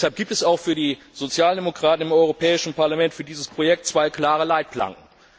Deshalb gibt es auch für die Sozialdemokraten im Europäischen Parlament für dieses Projekt zwei klare Leitplanken.